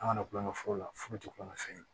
An kana kulon kɛ foro la furu tɛ kulonkɛ fɛn ye